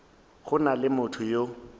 go na le motho yo